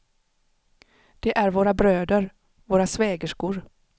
Det är våra bröder, våra svägerskor.